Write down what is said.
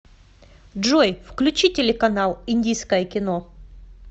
джой включи телеканал индийское кино